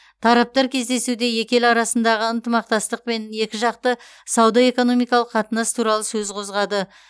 тараптар кездесуде екі ел арасындағы ынтымақтастық пен екіжақты сауда экономикалық қатынас туралы сөз қозғады